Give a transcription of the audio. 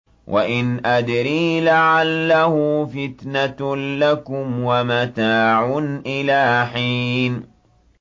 وَإِنْ أَدْرِي لَعَلَّهُ فِتْنَةٌ لَّكُمْ وَمَتَاعٌ إِلَىٰ حِينٍ